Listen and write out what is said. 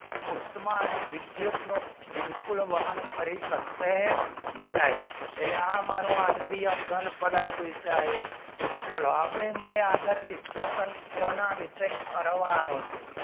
ઉષ્મા અને વિદ્યુતના બિલકુલ વાહન કરી શકશો નહિ એને આ મારો આણ્વીય કાં પદાર્થ કેસી આયો ચલો આવે મને discussison કોના વિષે કરવાનું છે